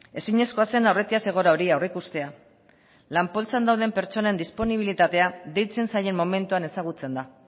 ezinezkoa zen aurretiaz egoera hori aurreikustea lan poltsan dauden pertsonen disponibilitatea deitzen zaien momentuan ezagutzen da